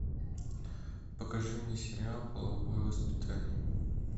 покажи мне сериал половое воспитание